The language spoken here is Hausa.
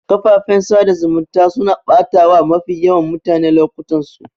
Kafafen sada zumunta suna batawa mafi yawan mutane lokutansu